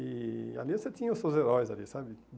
E ali você tinha os seus heróis ali, sabe?